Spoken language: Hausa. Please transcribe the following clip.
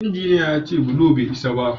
Injiniya ya ce bulo bai isa ba